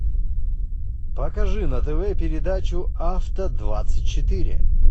покажи на тв передачу авто двадцать четыре